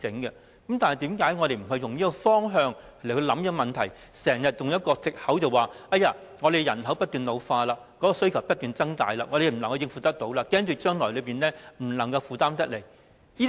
為何我們不以這方向考慮這問題，而經常以藉口推搪，說人口不斷老化、需求不斷增大，我們不能應付和恐怕將來負擔不來等。